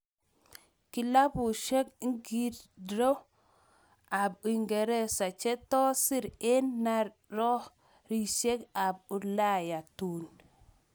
Klabusiek ngircho ap uingeresa che tos siir eng' naaryosiyek ap ulaya tuun?